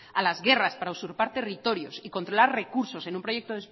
a las guerras para usurpar territorios y controlar recursos en un proyecto